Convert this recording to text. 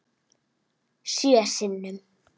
Sjö sinnum.